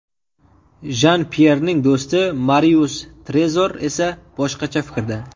Jan-Pyerning do‘sti Marius Trezor esa boshqacha fikrda.